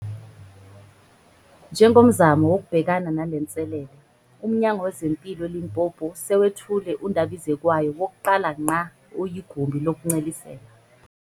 Njengomzamo wokubhekana nalenselele, uMnyango wezeMpilo eLimpopo sewethule undabizekwayo wokuqala ngqa oyigumbi lokuncelisela